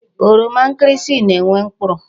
Oroma nkirisi na-enwe mkpụrụ.